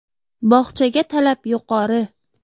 Bog‘chaga talab yuqori.